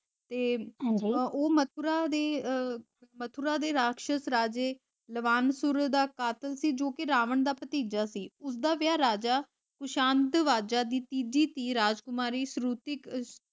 ਤੇ ਉਹ ਮਥੂਰਾ ਦੀ ਉਹ, ਮਥੂਰਾ ਦੀ ਰਾਕਸ਼ਸ ਰਾਜੇ ਲਾਵਾਂਸੂਰ ਦਾ ਕਾਤਿਲ ਸੀ ਜੋਕਿ ਰਾਵਨ ਦਾ ਭਤੀਜਾ ਸੀ। ਉਸਦਾ ਵਿਆਹ ਰਾਜਾ ਖੁਸ਼ਾਂਤਵਜਾ ਦੀ ਤੀਜੀ ਧੀ ਰਾਜਕੁਮਾਰੀ ਸ੍ਰੁਤਿ